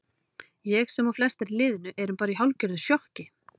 Ég sem og flestar í liðinu erum bara í hálfgerðu sjokki.